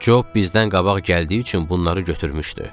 Cop bizdən qabaq gəldiyi üçün bunları götürmüşdü.